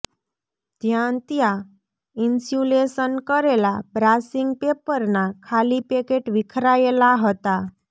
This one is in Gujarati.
જ્યાંત્યાં ઈન્સ્યુલેશન કરેલા બ્રાસિંગ પેપરનાં ખાલી પેકેટ વિખરાયેલાં હતાં